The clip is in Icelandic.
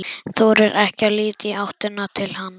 Þorir ekki að líta í áttina til hans.